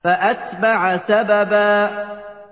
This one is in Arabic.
فَأَتْبَعَ سَبَبًا